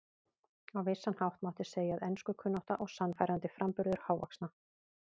Á vissan hátt mátti segja að enskukunnátta og sannfærandi framburður hávaxna